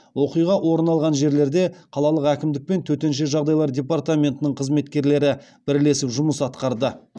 оқиға орын алған жерлерде қалалық әкімдік пен төтенше жағдалар департаментінің қызметкерлері бірлесіп жұмыс атқарды